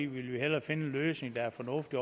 vil vi hellere finde en løsning der er fornuftig